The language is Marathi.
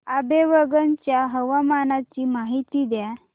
आंबेवंगन च्या हवामानाची माहिती द्या